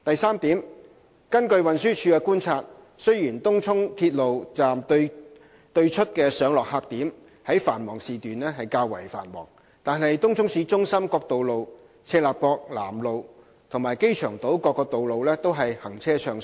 三根據運輸署的觀察，雖然東涌鐵路站對出的上落客點在繁忙時段較為繁忙，但東涌市中心各道路、赤鱲角南路及機場島各道路均行車暢順。